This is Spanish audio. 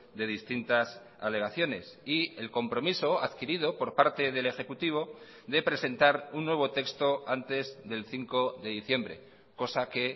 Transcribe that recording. de distintas alegaciones y el compromiso adquirido por parte del ejecutivo de presentar un nuevo texto antes del cinco de diciembre cosa que